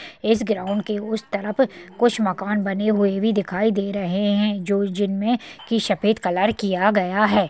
इस ग्राउंड के उस तरफ कुछ मकान बने हुए भी दिखाई दे रहे है जो- जिनमें कि सफ़ेद कलर किया गया है।